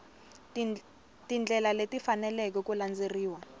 tindlela leti faneleke ku landzeleriwa